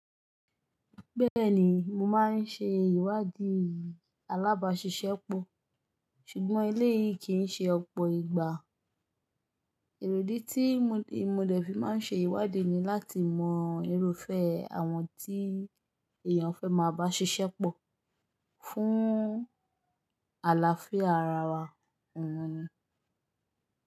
Bẹ́ẹ̀ni, mo máa ń ṣe ìwádìí alábàáṣiṣẹ́ pọ̀, ṣùgbọ́n eléyìí kì í ṣe ọ̀pọ̀ ìgbà. Èròdì tí mo dẹ̀ fi máa ń ṣe ìwádìí ni láti mọ irúfẹ́ àwọn tí èèyàn fẹ́ máa bá ṣiṣẹ́ pọ̀ fún àlàáfíà ara wa.